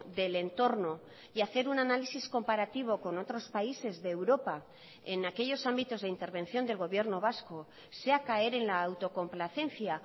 del entorno y hacer un análisis comparativo con otros países de europa en aquellos ámbitos de intervención del gobierno vasco sea caer en la autocomplacencia